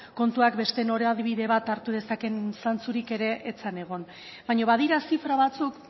kontuak beste norabide bat hartu dezaken zantzurik ere ez zen egon baina badira zifra batzuk